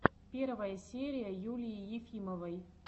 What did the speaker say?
первая серия юлии ефимовой